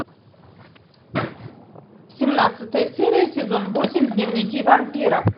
семнадцатая серия сезон восемь дневники вампира